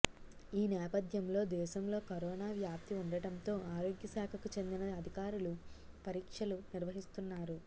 ఈ నేపథ్యంలో దేశంలో కరోనా వ్యాప్తి ఉండటంతో ఆరోగ్యశాఖకు చెందిన అధికారులు పరీక్షలు నిర్వహిస్తున్నారు